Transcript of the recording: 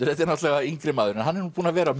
þetta er náttúrulega yngri maður hann er búinn að vera